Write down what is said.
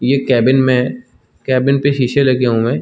ये केबिन में केबिन पे शीशे लगे हुए --